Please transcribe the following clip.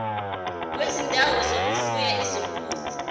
kwezindawo zokufuya izinkukhu